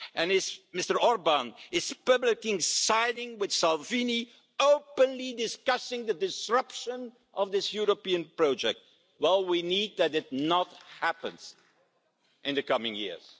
If Mr Orbán is publicly siding with Salvini, openly discussing the disruption of this European project, well, we need that not to happen in the coming years.